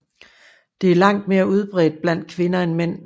Det er langt mere udbredt blandt kvinder end mænd